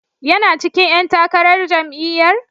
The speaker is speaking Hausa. Yana cikin ƴan takarar jam'iyyar?